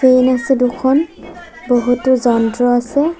আছে দুখন বহুতো যন্ত্ৰ আছে।